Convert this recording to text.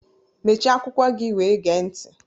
Mechie akwụkwọ gị wee gee ntị!